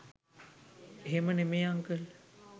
එහෙම නෙමේ අංකල්